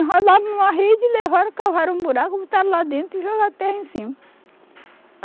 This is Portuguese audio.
Enrolaram numa rede, levaram, cavaram um buraco, botaram lá dentro e jogaram terra em cima.